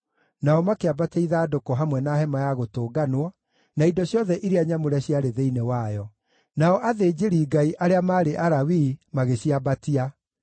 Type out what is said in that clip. nao makĩambatia ithandũkũ, hamwe na Hema-ya-Gũtũnganwo, na indo ciothe iria nyamũre ciarĩ thĩinĩ wayo. Nao athĩnjĩri-Ngai, arĩa maarĩ Alawii, magĩciambatia;